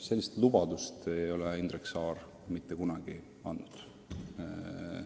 Sellist lubadust ei ole Indrek Saar mitte kunagi andnud.